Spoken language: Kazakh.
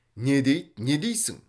не дейді не дейсің